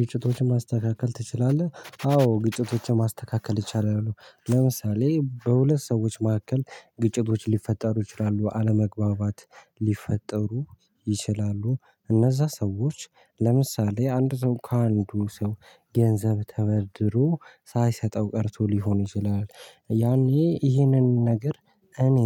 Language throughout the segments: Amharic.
ግጭቶችን ማስተካከል ትችላለህ? አዎ ግጭቶችን ማስተካከል እችላለው ለምሳሌ በሁለት ሰዎች መካከል ግጭቶች ሊፈጠሩ ይችላሉ አለመግባባት ሊፈጠሩ ይችላሉ እነዛ ሰዎች ለምሳሌ አንድ ሰው ከአንዱ ሰው ገንዘብ ተበድሮ ሳይሰጠው ቀርቶ ሊሆን ይችላል። ያኔ ይሄንን ነገር እኔ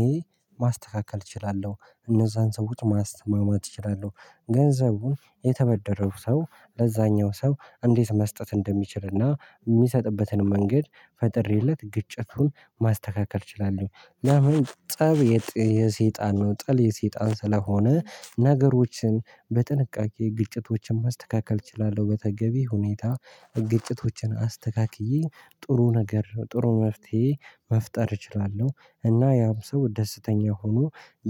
ማስተካከል እችላለሁ እነዛን ሰዎች ማስማማት እችላለሁ ገንዘቡን የተበደረው ሰው ለዛኛው ሰው እንዴት መስጠት እንደሚችልና የሚሰጥበትን መንገድ ፈጥሬለት ግጭቱን ማስተካከል እችላለሁ። ለምን ጠብ የሰይጣን ነው ጥል የሰይጣን ስለሆነ ነገሮችን በጥንቃቄ ግጭቶችን ማስተካከል እችላለሁ። በተገቢ ሁኔታ ግጭቶችን አስተካክዬ ጥሩ ነገር ጥሩ መፍትሄ መፍጠር እችላለሁ። እና ያም ሰው ደስተኛ ሆኖ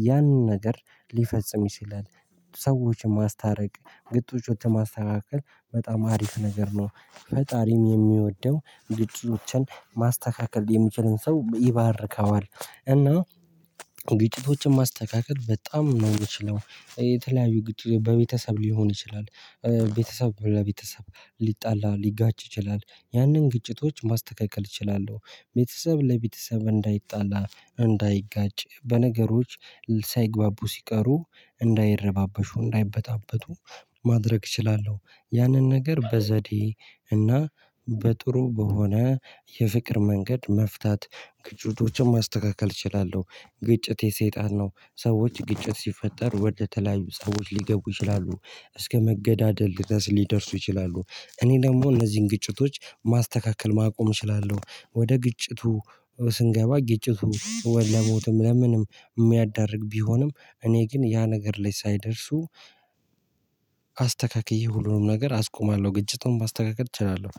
ያንን ነገር ሊፈጽም ይችላል። ሰዎችን ማስታረቅ ግጭቶችን ማስተካከል በጣም አሪፍ ነገር ነው። ፈጣሪም የሚወደው ግጭቶችን ማስተካከል የሚችልን ሰው ይባርከዋል። እና ግጭቶችን ማስተካከል በጣም ነው የምችለው። የተለያዩ ግጭት በቤተሰብ ሊሆን ይችላል። ቤተሰብ ለቤተሰብ ሊጣላ ሊጋጭ ይችላል ያንን ግጭቶች ማስተካከል እችላለሁ። ቤተሰብ ለቤተሰብ እንዳይጣላ እንዳይጋጭ በነገሮች ሳይግባቡ ሲቀሩ እንዳይረባበሹ እንዳይበጣበጡ ማድረግ እችላለሁ። ያንን ነገር በዘዴ እና በጥሩ በሆነ የፍቅር መንገድ መፍታት ግጭቶችን ማስተካከል እችላለሁ። ግጭት የሰይጣን ነው ሰዎች ግጭት ሲፈጠር ወደተለያዩ ፀቦች ሊገቡ ይችላሉ እስከ መገዳደል ድረስ ሊደርሱ ይችላሉ። እኔ ደግሞ እነዚህን ግጭቶች ማስተካከል ማቆም እችላለሁ። ወደ ግጭቱ ስንገባ ግጭቱ ወይ ለሞትም ለምንም የሚያዳርግ ቢሆንም እኔ ግን ያ ነገር ላይ ሳይደርሱ አስተካክዬ ሁሉንም ነገር አስቆማለሁ። ግጭቱን ማስተካክል እችላለሁ